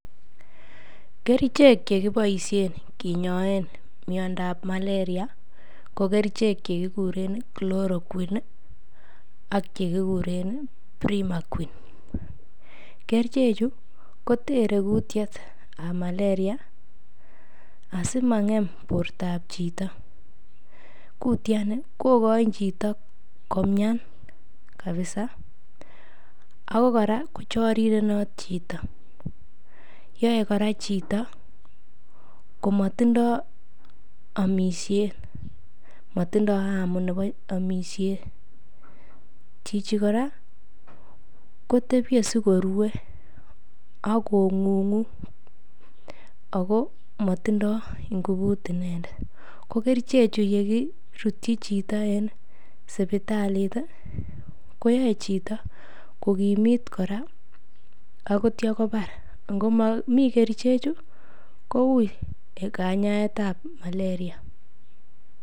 Kerichek chekiboisien kinyoen miondab maleria ko kerichek chekikureen chloroquine ak chekiguren primaquine, kerichechu kotere kutiet ab maleria asimang'em bortab chito, kutyani koyochin chito komyan kabiza ako kora kochorirenot chito, yoe kora chito komotindo omisyet motindo amu nebo omisyet, chichi kora kotebie sikorue ak kong'ung'u ako motindo ng'ubut inendet, ko kerichechu yekirutyi chito en sibitalit koyoe chito kogimit kora ak kitya kobar, ng'omomi kerichechu koui kanyaet ab maleria.